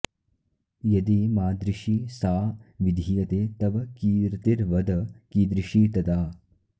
यदि मादृशि सा विधीयते तव कीर्तिर्वद कीदृशी तदा